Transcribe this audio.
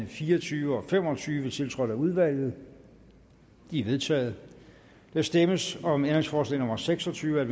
fire og tyve og fem og tyve tiltrådt af udvalget de er vedtaget der stemmes om ændringsforslag nummer seks og tyve